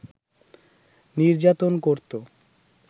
নির্যাতন করতো